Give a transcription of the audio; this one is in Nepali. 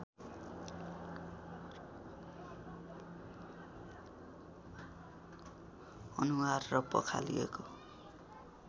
अनुहार र पखालिएको